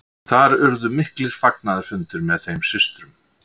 Þar urðu miklir fagnaðarfundir með þeim systrum.